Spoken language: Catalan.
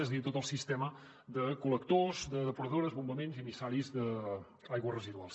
és a dir tot el sistema de col·lectors de depuradores bombaments i emissaris d’aigües residuals